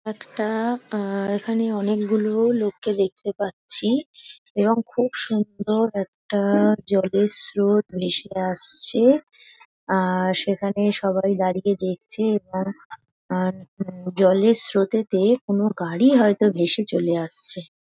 একটা-আ আহ এখানে অনেক গুলো লোক কে দেখতে পাচ্ছি এবং খুব সুন্দর একটা জলের স্রোত ভেসে আসছে আর সেখানে সবাই দাঁড়িয়ে দেখছে এবং আন উম জলের স্রোতে তে কোনো গাড়ি হয়তো ভেসে চলে আসছে।